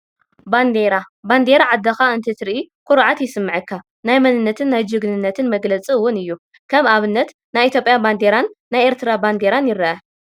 ባንዴራ፡- ባንዴራ ዓድኻ እንትትርኢ ኩርዓት ይስመዓካ፡፡ ናይ መንነትን ናይ ጅግንነትን መግለፂ እውን እዩ፡፡ ከም ኣብነት ናይ ኢ/ያ ባንዴራን ናይ ኤሪትራ ባንዴራን ይረአ፡፡